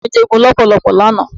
Ajá mi jẹ́ eegun lọ́pọ̀ lánàá.